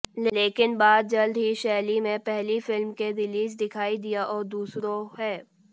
लेकिन बाद जल्द ही शैली में पहली फिल्म के रिलीज दिखाई दिया और दूसरों है